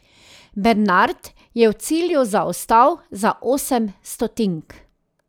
Bernard je v cilju zaostal za osem stotink.